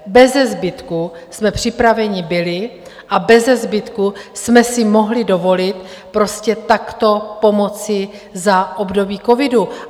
Beze zbytku jsme připraveni byli a beze zbytku jsme si mohli dovolit prostě takto pomoci za období covidu.